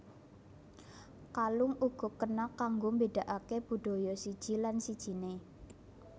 Kalung uga kena kanggo mbédakaké budaya siji lan sijiné